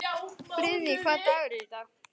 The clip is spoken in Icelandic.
Friðný, hvaða dagur er í dag?